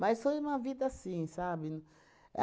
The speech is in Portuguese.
foi uma vida assim, sabe?